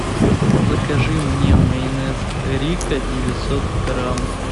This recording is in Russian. закажи мне майонез рикко девятьсот грамм